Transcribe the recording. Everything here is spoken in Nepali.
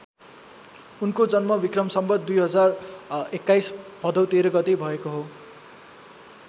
उनको जन्म वि सं २०२१ भदौ १३ गते भएको हो।